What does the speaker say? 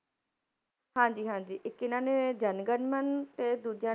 ਹਾਂਜੀ ਹਾਂਜੀ, ਇੱਕ ਇਹਨਾਂ ਨੇ ਜਨ ਗਨ ਮਨ ਤੇ ਦੂਜਾ